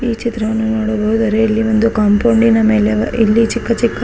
ಈ ಚಿತ್ರವನ್ನು ನೋಡಬಹುದಾದರೆ ಇಲ್ಲಿ ಒಂದು ಕಾಂಪೋಂಡಿನ ಮೇಲೆ ಇಲ್ಲಿ ಚಿಕ್ಕ ಚಿಕ್ಕ --